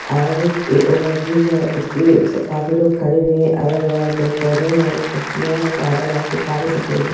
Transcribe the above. और ये ओवरब्रिज है उसपे काफी लोग खड़े हुए हैं अगल-बगल पेड़-पौधे हैं हरी पत्तियाँ हैं बादल हल्के काले सफेद हैं।